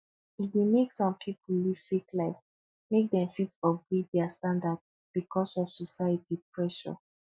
e dey mek som pipo live fake life mek dem fit upgrade dia standard bikos of society pressure